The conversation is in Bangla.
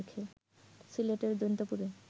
সিলেটের জৈন্তাপুরে